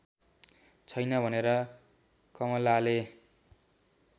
छैन भनेर कमलाले